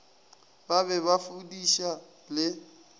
ba be ba fudiša le